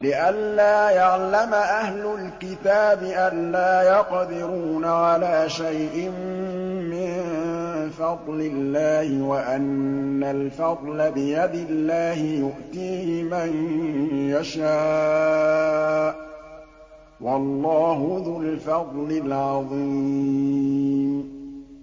لِّئَلَّا يَعْلَمَ أَهْلُ الْكِتَابِ أَلَّا يَقْدِرُونَ عَلَىٰ شَيْءٍ مِّن فَضْلِ اللَّهِ ۙ وَأَنَّ الْفَضْلَ بِيَدِ اللَّهِ يُؤْتِيهِ مَن يَشَاءُ ۚ وَاللَّهُ ذُو الْفَضْلِ الْعَظِيمِ